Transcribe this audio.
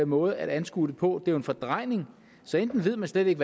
måde at anskue det på det er jo en fordrejning enten ved man slet ikke